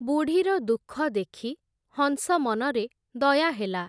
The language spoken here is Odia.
ବୁଢ଼ୀର ଦୁଃଖ ଦେଖି, ହଂସ ମନରେ ଦୟା ହେଲା ।